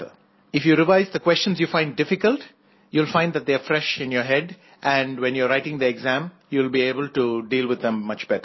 if you revise the questions you find difficult you will find that they are fresh in your head and when you are writing the exam you will be able to deal with them much better